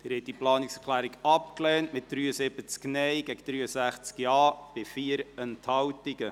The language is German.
Sie haben diese Planungserklärung abgelehnt, mit 73 Nein- gegen 63 Ja-Stimmen bei 4 Enthaltungen.